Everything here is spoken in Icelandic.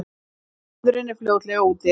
En friðurinn er fljótlega úti.